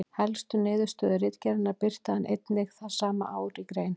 Helstu niðurstöðu ritgerðarinnar birti hann einnig það sama ár í grein.